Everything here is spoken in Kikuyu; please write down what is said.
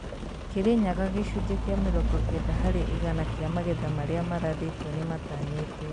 Kirinyaga gĩcunjĩ kĩa mĩrongo kenda harĩ igana kĩa magetha marĩa marathĩtwo nĩmatanyĩtwo